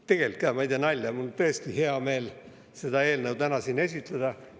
Tegelikult ka, ma ei tee nalja, mul on tõesti hea meel seda eelnõu täna siin esitleda.